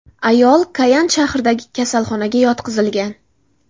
Ayol Koyan shahridagi kasalxonaga yotqizilgan.